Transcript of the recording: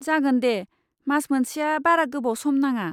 जागोन दे, मास मोनसेया बारा गोबाव सम नङा।